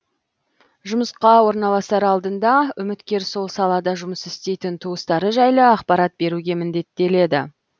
жұмысқа орналасар алдында үміткер сол салада жұмыс істейтін туыстары жайлы ақпарат беруге міндеттеледі